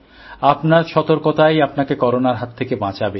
আপনার সতর্কতাই আপনাকে করোনার হাত থেকে বাঁচাবে